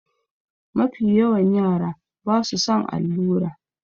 Mafiyawan yara ba su son allura.